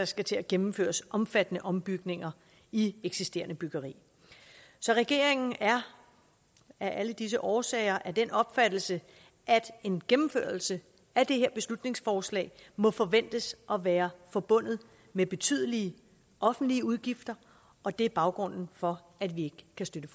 skal gennemføres omfattende ombygninger i eksisterende byggeri så regeringen er af alle disse årsager af den opfattelse at en gennemførelse af det her beslutningsforslag må forventes at være forbundet med betydelige offentlige udgifter og det er baggrunden for at vi ikke kan støtte